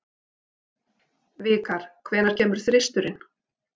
Vikar, hvenær kemur þristurinn?